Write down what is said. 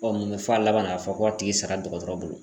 mun bɛ fɔ a laban na, a fɔ ko a tigi sara dɔgɔtɔrɔ bolo